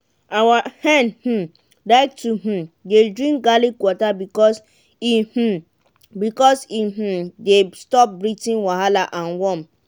our hen um like to um dey drink garlic water because e um because e um dey stop breathing wahala and worm.